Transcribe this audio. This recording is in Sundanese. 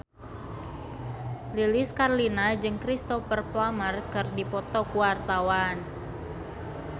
Lilis Karlina jeung Cristhoper Plumer keur dipoto ku wartawan